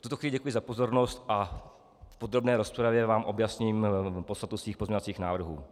V tuto chvíli děkuji za pozornost a v podrobné rozpravě vám objasním podstatu svých pozměňovacích návrhů.